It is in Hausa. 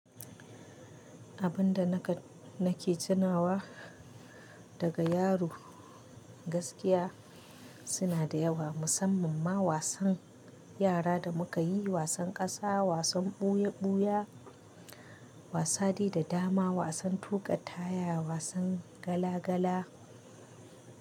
Abun da naka nake tunawa daga yaro gaskiya suna da yawa musamman ma wasan yara da muka yi wasan ƙasa wasan ɓuya-ɓuya wasadai da dama wasan tuƙa taya wasan gala-gala.